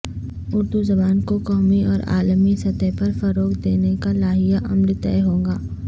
اردو زبان کو قومی اور عالمی سطح پر فروغ دینے کا لائحہ عمل طے ہوگا